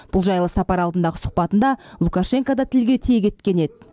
бұл жайлы сапар алдындағы сұхбатында лукашенко да тілге тиек еткен еді